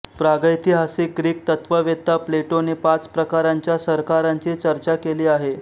प्रागैतिहासिक ग्रीक तत्ववेत्ता प्लेटोने पाच प्रकारांच्या सरकारांची चर्चा केली आहे